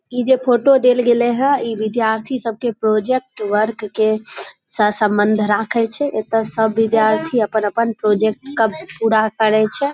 ई जेई फोटो देल गेले हई ई विद्यार्थी सब के प्रोजेक्ट वर्क के सा संबंध राखे छै एता सब विद्यार्थी अपन-अपन प्रोजेक्ट के पूरा करे छै ।